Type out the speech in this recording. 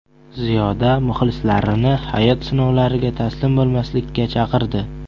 Ziyoda muxlislarini hayot sinovlariga taslim bo‘lmaslikka chaqirdi.